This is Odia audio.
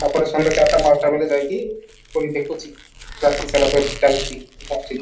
ତା'ପରେ ସନ୍ଧ୍ୟା ଚାରିଟା ପାଞ୍ଚଟା ବେଲେ ଯାଇକି ପୁଣି ଦେଖୁଛି ରାତି ସାରା ଚାଲୁଛି